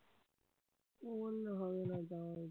ওগুলি হবে না ভাই